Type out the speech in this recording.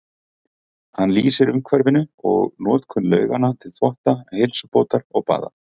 Hann lýsir umhverfinu og notkun lauganna til þvotta, heilsubótar og baða.